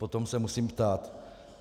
potom se musím ptát.